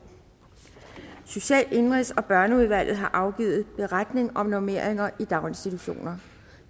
social indenrigs og børneudvalget har afgivet beretning om normeringer i daginstitutioner